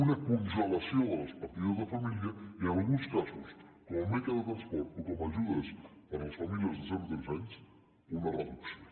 una congelació de les partides de família i en alguns casos com en beca de transport o com ajudes per a les famílies de zero a tres anys una reducció